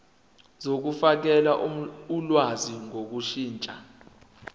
zokufakela ulwazi ngokushintsha